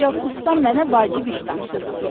Ancaq ustam mənə vacib iş tapşırıb.